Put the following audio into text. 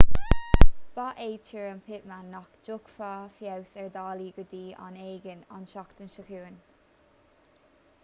ba é tuairim pittman nach dtiocfadh feabhas ar dhálaí go dtí am éigin an tseachtain seo chugainn